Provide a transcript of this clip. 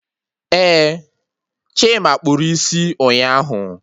Eh, Chima kpụrụ isi ụnyaahụ